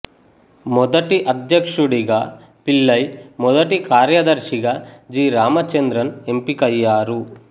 మొదటి అధ్యక్షుడిగా పిళ్లై మొదటి కార్యదర్శిగా జి రామచంద్రన్ ఎంపికయ్యారు